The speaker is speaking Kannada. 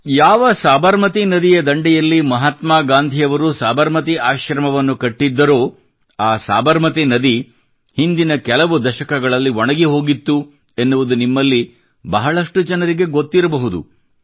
ಯಾವ ಸಬರಮತಿ ನದಿಯ ದಂಡೆಯಲ್ಲಿ ಮಹಾತ್ಮಾ ಗಾಂಧಿಯವರು ಸಬರಮತಿ ಆಶ್ರಮವನ್ನು ಕಟ್ಟಿದ್ದರೋ ಆ ಸಬರಮತಿ ನದಿಯು ಹಿಂದಿನ ಕೆಲವು ದಶಕಗಳಲ್ಲಿ ಒಣಗಿಹೋಗಿತ್ತು ಎನ್ನುವುದು ನಿಮ್ಮಲ್ಲಿ ಬಹಳಷ್ಟು ಜನರಿಗೆ ಗೊತ್ತಿರಬಹುದು